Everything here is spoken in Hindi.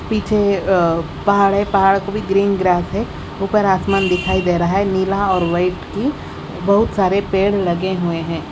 पीछे अह पहाड़ है पहाड़ को भी ग्रीन ग्रास है ऊपर आसमान दिखाई दे रहा है नीला और वाइट अह भी बहुत सारे पेड़ लगे हुए हैं।